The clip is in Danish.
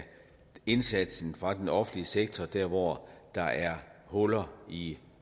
indsatsen fra den offentlige sektors side dér hvor der er huller i